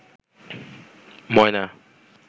ময়না